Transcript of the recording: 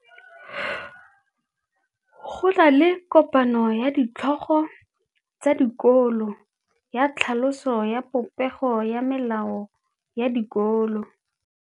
Go na le kopanô ya ditlhogo tsa dikolo ya tlhaloso ya popêgô ya melao ya dikolo.